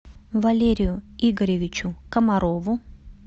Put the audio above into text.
валерию игоревичу комарову